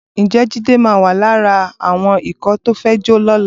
Ǹjẹ́ Jídé máa wà lára àwọn ikọ̀ tó fẹ́ jó lọ́la?